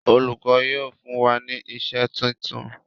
Olùkó yíò fún wá ní iṣé títún.